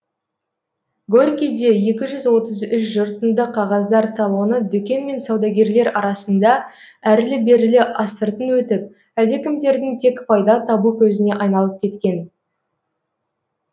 горькийде екі жүз отыз үш жыртынды қағаздар талоны дүкен мен саудагерлер арасында әрлі берлі астыртын өтіп әлдекімдердің тек пайда табу көзіне айналып кеткен